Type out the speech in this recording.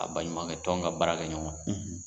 A baɲumankɛ tɔn ka baarakɛɲɔgɔn,